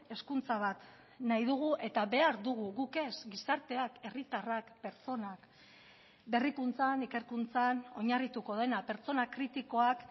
hezkuntza bat nahi dugu eta behar dugu guk ez gizarteak herritarrak pertsonak berrikuntzan ikerkuntzan oinarrituko dena pertsona kritikoak